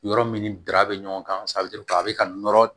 Yɔrɔ min ni dara bɛ ɲɔgɔn kan a bɛ ka nɔrɔ